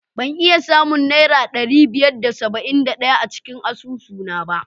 Ban iya samun Naira ɗari biyar da saba'in da ɗaya a cikin asusuna ba.